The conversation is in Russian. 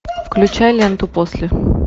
включай ленту после